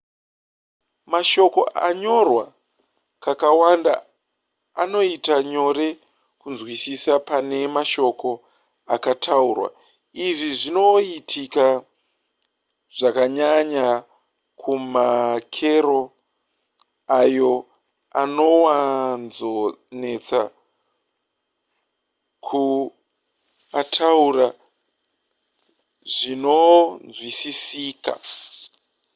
mashoko akanyorwa kakawanda anoita nyore kunzwisisa pane mashoko akataurwa izvi zvinoitika zvakanyanya kumakero ayo anowanzonetsa kuataura zvinonzwisisika